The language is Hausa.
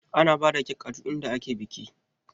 Ana bada kek a duk inda ake biki